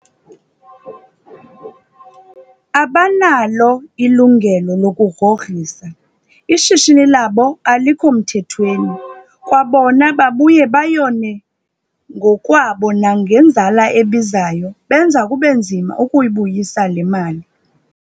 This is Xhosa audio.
Abanalo ilungelo lokugrogrisa, ishishini labo alikho mthethweni. Kwabona babuya bayone ngokwabo nangenzala ebizayo, benza kube nzima ukuyibuyisa le mali.